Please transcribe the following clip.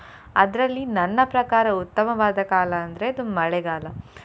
ಅದ್ರಲ್ಲಿ ನನ್ನ ಪ್ರಕಾರ ಉತ್ತಮವಾದ ಕಾಲ ಅಂದ್ರೆ ಅದು ಮಳೆಗಾಲ.